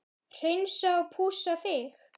Hreinsa og pússa þig?